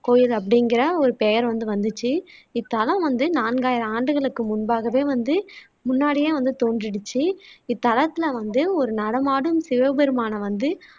கோயில் அப்படிங்குற ஒரு பெயர் வந்து வந்சுச்சு இத்தலம் வந்து நான்காயிரம் ஆண்டுகளுக்கு முன்பாகவே வந்து முன்னாடியே வந்து தோன்றிடுச்சு இத்தலத்துல வந்து ஒரு நடமாடும் சிவபெருமானை வந்து